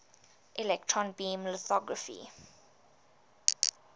electron beam lithography